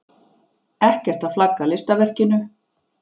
Ekkert að flagga listaverkinu.